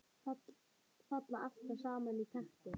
Falla alltaf í sama takti.